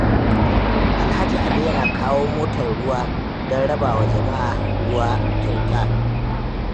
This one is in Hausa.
Alhaji Ali yana kawo motar ruwa don rabawa jama'a ruwa kyauta.